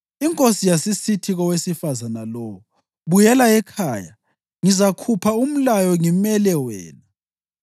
Inkosi yasisithi kowesifazane lowo, “Buyela ekhaya, ngizakhupha umlayo ngimele wena.”